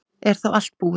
Er þá allt búið?